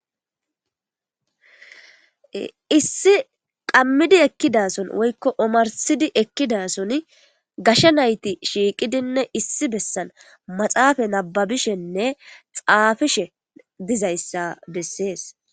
Issi qammidi ekkiddason woykko omarsidi ekiddasoni gashe nayti shiqqidinne issi bessan matsafani nababbishenne tsafishe de'iza besses.